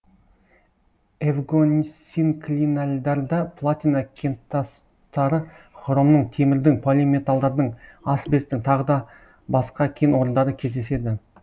эвгонсинклинальдарда платина кентастары хромның темірдің полиметалдардың асбестің тағы да басқа кен орындары кездеседі